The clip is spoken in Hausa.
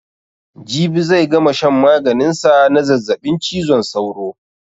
Jibi zai gama shan maganin sa na zazzaɓin cizon sauro